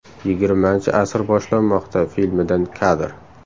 Yigirmanchi asr boshlanmoqda” filmidan kadr.